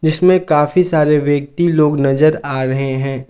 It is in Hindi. इसमें काफी सारे व्यक्ति लोग नजर आ रहे हैं।